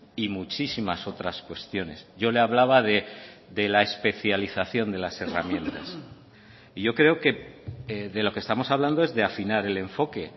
y muchísimas otras cuestiones yo le hablaba de la especialización de las herramientas y yo creo que de lo que estamos hablando es de afinar el enfoque